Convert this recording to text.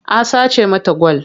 A sace mata gwal.